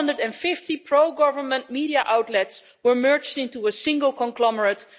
450 pro government media outlets were merged into a single conglomerate